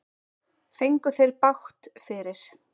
Fengu þeir bágt fyrir.